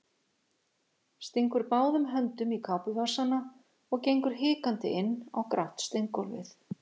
Stingur báðum höndum í kápuvasana og gengur hikandi inn á grátt steingólfið.